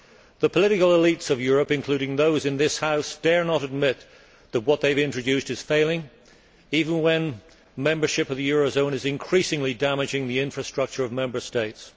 The political elites of Europe, including those in this House, dare not admit that what they have introduced is failing, even when membership of the eurozone is increasingly damaging the infrastructure of Member States.